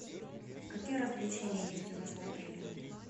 какие развлечения есть у вас в отеле